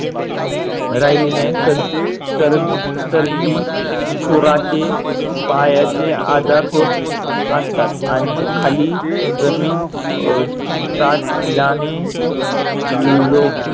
राहिली नाही sir sir सर्दी खुराचे पायाचे आजार होत असतात आणि खाली जमीन अह चाटल्याने लोक